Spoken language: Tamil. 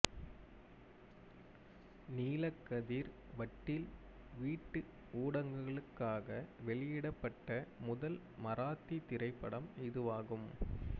நீலக்கதிர் வட்டில் வீட்டு ஊடகங்களுக்காக வெளியிடப்பட்ட முதல் மராத்தி திரைப்படம் இதுவாகும்